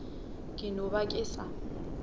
ke no ba ke sa